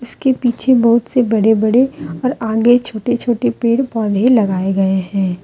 इसके पीछे बहुत से बड़े बड़े और आगे छोटे छोटे पेड़ पौधे लगाए गए हैं।